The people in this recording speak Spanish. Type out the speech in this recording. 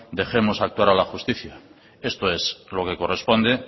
dejemos actuar a la justicia esto es lo que corresponde